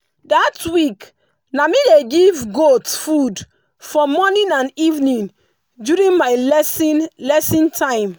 that week na me dey give goat food for morning and evening during my lesson lesson time.